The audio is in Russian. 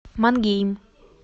мангейм